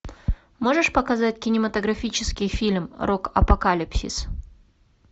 можешь показать кинематографический фильм рок апокалипсис